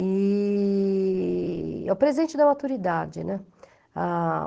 E é o presente da maturidade, né?